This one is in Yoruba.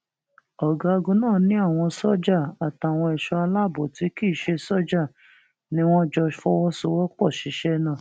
ọgágun náà ni àwọn sójà àtàwọn ẹṣọ aláàbọ tí kì í ṣe sójà ni wọn jọ fọwọsowọpọ ṣiṣẹ náà